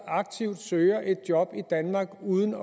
aktivt søger et job i danmark uden